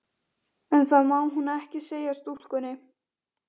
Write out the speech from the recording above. En það má hún ekki segja stúlkunni.